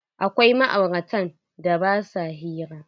Akwai ma'auratan da ba sua hira.